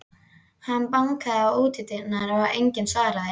Hann bankaði á útidyrnar, en enginn svaraði.